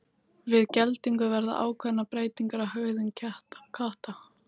Við geldingu verða ákveðnar breytingar á hegðun katta.